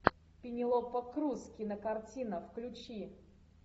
пенелопа крус кинокартина включи